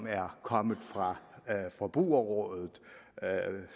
er kommet fra forbrugerrådet